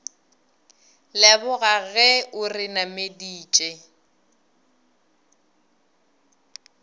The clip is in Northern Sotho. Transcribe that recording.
leboga ge o re nameditše